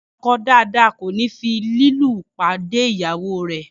ọkọ dáadáa kòní fi lúlù pàdé ìyàwó rè.